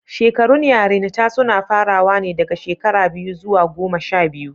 Shekarun yarinta suna farawa ne daga shekara biyu zuwa goma sha biyu.